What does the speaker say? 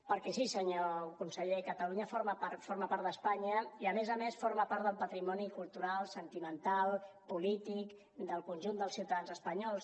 perquè sí senyor conseller catalunya forma part d’espanya i a més a més forma part del patrimoni cultural sentimental polític del conjunt dels ciutadans espanyols